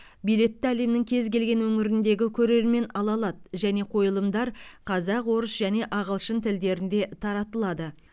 билетті әлемнің кез келген өңіріндегі көрермен ала алады және қойылымдар қазақ орыс және ағылшын тілдерінде таратылады